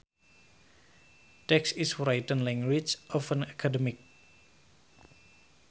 Text is written language often academic